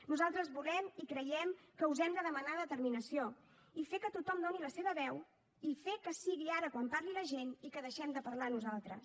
nosaltres volem i creiem que us hem de demanar determinació i fer que tothom doni la seva veu i fer que sigui ara quan parli la gent i que deixem de parlar nosaltres